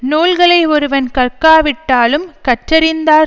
நூல்களை ஒருவன் கற்காவிட்டாலும் கற்றறிந்தார்